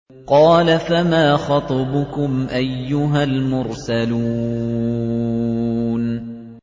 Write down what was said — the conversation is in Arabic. قَالَ فَمَا خَطْبُكُمْ أَيُّهَا الْمُرْسَلُونَ